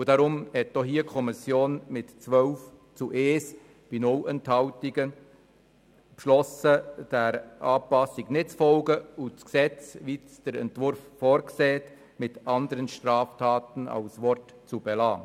Deswegen hat auch hier die Kommission mit 12 zu 1 Stimmen bei 0 Enthaltungen beschlossen, dieser Anpassung nicht zu folgen und im Gesetz die Formulierung «Verdachtsgründe auf andere Straftaten», wie es der Entwurf vorsieht, zu belassen.